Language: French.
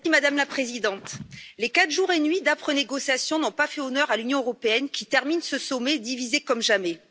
Madame la Présidente, les quatre jours et nuits d'âpres négociations n'ont pas fait honneur à l'Union européenne, qui termine ce sommet divisée comme jamais.